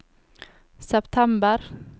september